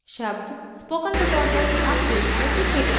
शब्द spoken tutorials अब page पर दिखेगा